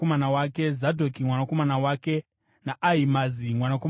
Zadhoki mwanakomana wake naAhimaazi mwanakomana wake.